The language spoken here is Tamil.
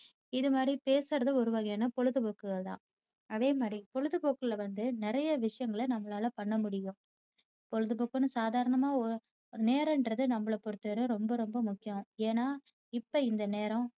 இது மாதிரி பேசுறது ஒரு வகையான பொழுதுபோக்குகள் தான். அதே மாதிரி பொழுதுபோக்குல வந்து நிறைய விஷயங்கள நம்மளால பண்ணமுடியும் பொழுதுபோக்குன்னு சாதரணமா நேரம்ன்றது நம்மளை பொறுத்தவரை ரொம்ப ரொம்ப முக்கியம். ஏன்னா இப்ப இந்த நேரம்